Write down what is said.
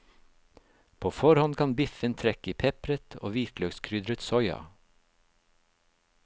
På forhånd kan biffen trekke i pepret og hvitløkskrydret soya.